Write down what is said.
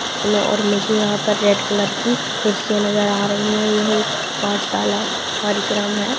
और मुझे यहां पर रेड कलर की कुर्सी नजर आ रही हैयह एक पाठशाला कार्यक्रम है ।